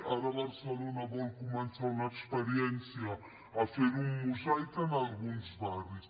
ara barcelona vol començar una experiència a fer ho en mosaic en alguns barris